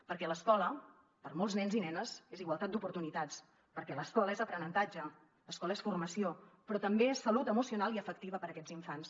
perquè l’escola per a molts nens i nenes és igualtat d’oportunitats perquè l’escola és aprenentatge l’escola és formació però també salut emocional i efectiva per a aquests infants